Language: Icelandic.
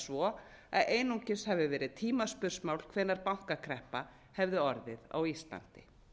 svo að einungis hafi verið tímaspursmál hvenær bankakreppa hefði orðið á íslandi